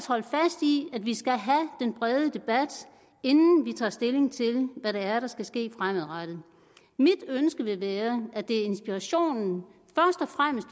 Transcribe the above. holde fast i at vi skal have den brede debat inden vi tager stilling til hvad der der skal ske fremadrettet mit ønske vil være at det er inspirationen